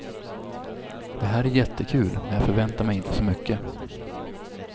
Det här är jättekul, men jag förväntar mig inte så mycket.